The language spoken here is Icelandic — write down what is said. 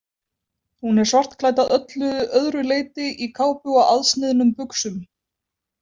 Hún er svartklædd að öllu öðru leyti, í kápu og aðsniðnum buxum.